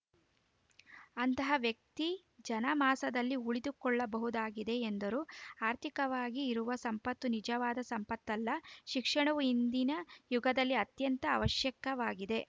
ಅಂತಹ ವ್ಯಕ್ತಿ ಜನಮಾಸದಲ್ಲಿ ಉಳಿದುಕೊಳ್ಳಬಹುದಾಗಿದೆ ಎಂದರು ಆರ್ಥಿಕವಾಗಿ ಇರುವ ಸಂಪತ್ತು ನಿಜವಾದ ಸಂಪತ್ತಲ್ಲ ಶಿಕ್ಷಣವು ಇಂದಿನ ಯುಗದಲ್ಲಿ ಅತ್ಯಂತ ಅವಶ್ಯಕವಾಗಿದೆ